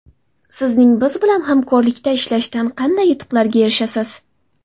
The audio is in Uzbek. Sizning biz bilan hamkorlikda ishlashdan qanday yutuqlarga erishasiz?